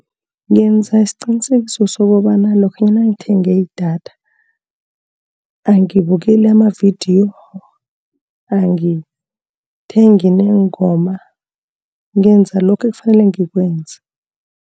Ngenza isiqinisekiso sokobana lokha ngithenge idatha, angibukeli amavidiyo, angithengi neengoma. Ngenza lokhu ekufanele ngikwenze.